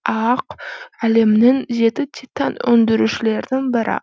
аақ әлемнің жеті титан өндірушілердің бірі